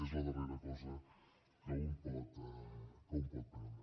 és la darrera cosa que un pot perdre